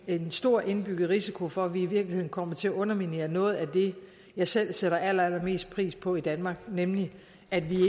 en stor indbygget risiko for at vi i virkeligheden kommer til at underminere noget af det jeg selv sætter allerallermest pris på i danmark nemlig at vi